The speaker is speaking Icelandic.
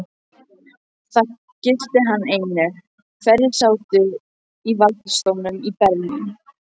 Það gilti hann einu, hverjir sátu í valdastólum í Berlín.